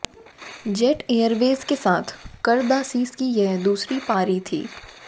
jet Airways के साथ करदासिस की यह दूसरी पारी थी